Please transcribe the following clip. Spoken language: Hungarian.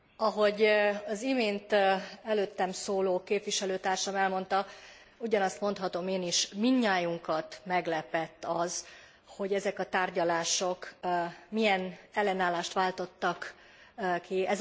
Ahogy az imént előttem szóló képviselőtársam elmondta, ugyanazt mondhatom én is. Mindnyájunkat meglepett az, hogy ezek a tárgyalások milyen ellenállást váltottak ki.